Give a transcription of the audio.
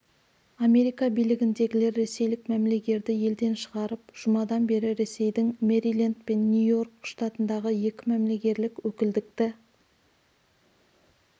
америка билігіндегілер ресейлік мәмілегерді елден шығарып жұмадан бері ресейдің мэриленд пен нью-йорк штатындағы екі мәмілегерлік өкілдікті